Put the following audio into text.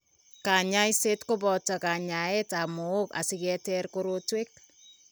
Kanyoiseet kobooto kanyaeet ab mook asiketer korotwek